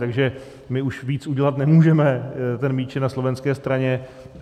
Takže my už víc udělat nemůžeme, míč je na slovenské straně.